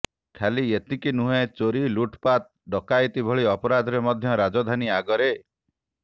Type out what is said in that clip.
ଖାଲି ଏତିକି ନୁହେଁ ଚୋରି ଲୁଟପାଟ ଡକାୟତି ଭଳି ଅପରାଧରେ ମଧ୍ୟ ରାଜଧାନୀ ଆଗରେ